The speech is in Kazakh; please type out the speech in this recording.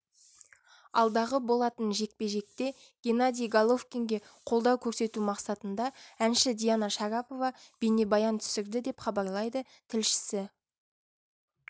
алдағы болатын жекпе-жекте геннадий головкинге қолдау көрсету мақсатында әнші диана шарапова бейнебаян түсірді деп хабарлайды тілшісі